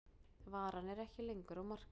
Varan er ekki lengur á markaði